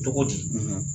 Cogo di